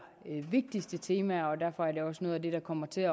et temaer og derfor er det også noget af det der kommer til